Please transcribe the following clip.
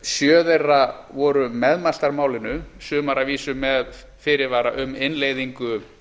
sjö þeirra væru meðmæltir málinu sumar að vísu með fyrirvara um innleiðingu